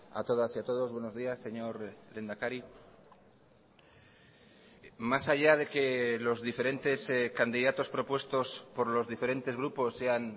a todas y a todos buenos días señor lehendakari más allá de que los diferentes candidatos propuestos por los diferentes grupos sean